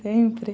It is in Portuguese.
Sempre.